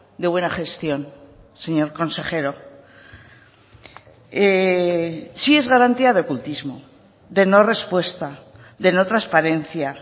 de buena gestión señor consejero sí es garantía de ocultismo de no respuesta de no transparencia